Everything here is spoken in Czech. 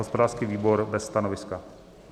Hospodářský výbor: bez stanoviska.